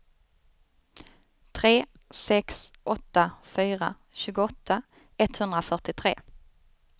tre sex åtta fyra tjugoåtta etthundrafyrtiotre